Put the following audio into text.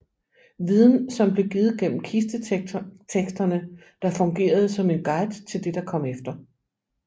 Viden som blev givet gennem kisteteksterne der fungerede som en guide til det der kom efter